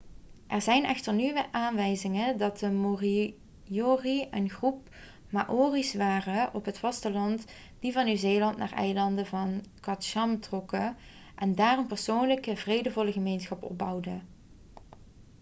er zijn echter nieuwe aanwijzingen dat de moriori een groep maori's waren op het vasteland die van nieuw-zeeland naar de eilanden van chatham trokken en daar een persoonlijke vredevolle gemeenschap opbouwden